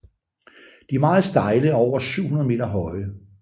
De er meget stejle og over 700 meter høje